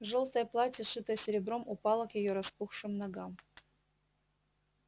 жёлтое платье шитое серебром упало к её распухшим ногам